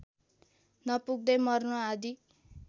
नपुग्दै मर्नु आदि